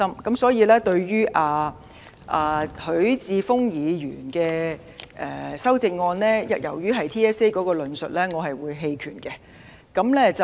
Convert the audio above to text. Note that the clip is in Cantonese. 因此，對於許智峯議員的修正案，因其中關於 TSA 的論述，我會棄權。